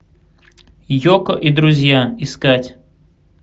йоко и друзья искать